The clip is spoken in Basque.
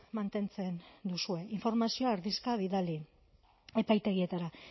mantentzen duzue informazioa erdizka bidali epaitegietara